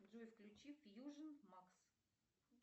джой включи фьюжн макс